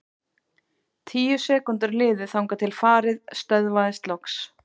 Tíu sekúndur liðu þangað til farið stöðvaðist loks.